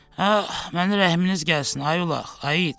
Ax, mənə rəhminiz gəlsin, ay ulaq, ay it.